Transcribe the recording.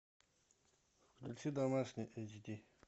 включи домашний эйчди